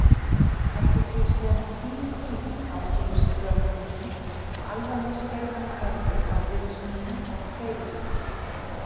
Eftir því sem tíminn líður ágerist hrörnunin og alvarleg skerðing verður á vitsmunum og hreyfigetu.